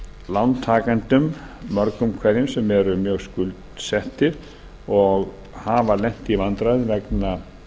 lántakendum mörgum hverjum sem eru mjög skuldsettir og hafa lent í vandræðum vegna